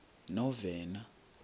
novena